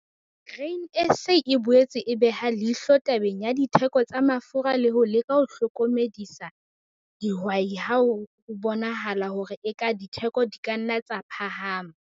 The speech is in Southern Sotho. Grain SA e boetse e beha leihlo tabeng ya ditheko tsa mafura le ho leka ho hlokomedisa dihwai ha ho bonahala hore eka ditheko di ka nna tsa phahama.